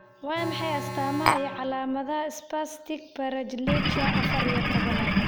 Waa maxay astamaha iyo calaamadaha Spastic paraplegia afar iyo tobnaad?